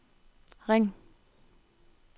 ring